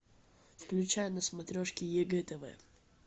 включай на смотрешке егэ тв